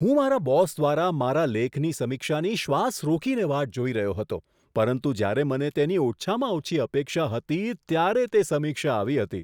હું મારા બોસ દ્વારા મારા લેખની સમીક્ષાની શ્વાસ રોકીને વાટ જોઈ રહ્યો હતો, પરંતુ જ્યારે મને તેની ઓછામાં ઓછી અપેક્ષા હતી, ત્યારે તે સમીક્ષા આવી હતી.